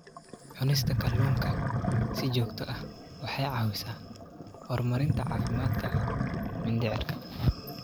Cunista kalluunka si joogto ah waxay caawisaa horumarinta caafimaadka mindhicirka.